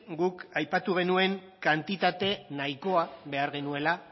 guk aipatu genuen kantitate nahikoa behar genuela